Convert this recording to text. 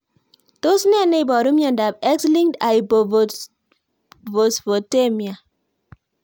Tos nee neiparu miondop X linked hypophosphatemia?